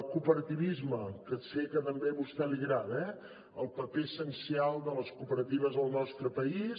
cooperativisme que sé que també a vostè li agrada eh el paper essencial de les cooperatives al nostre país